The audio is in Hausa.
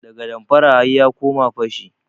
Daga damfara har ya koma fashi.